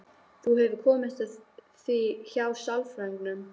Þú hefur komist að því hjá sálfræðingnum?